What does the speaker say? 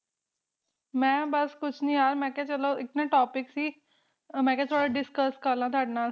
ਬਸ ਮੈਂ ਬਸ ਕੁਛ ਨੀ ਯਾਰ ਮੈਂ ਕਿਹਾ ਚਲੋ ਇਕ ਨਾ Topic ਸੀ ਮੈਂ ਕਿਹਾ ਚਲੋ Discuss ਕਰ ਲੈ ਤੁਹਾਡੇ ਨਾਲ